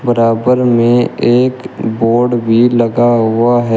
बराबर में एक बोर्ड भी लगा हुआ है।